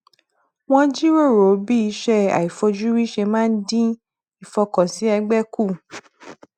wọn jíròrò bí iṣẹ aifojúrí ṣe máa dín ìfọkànsìn ẹgbẹ kù